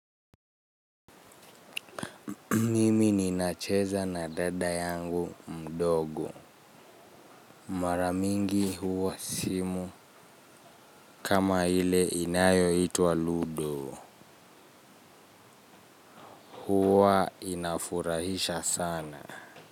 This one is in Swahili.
Mimi ninacheza na dada yangu mdogo mara mingi huwa simu. Kama ile inayoitwa Ludo huwa inafurahisha sana.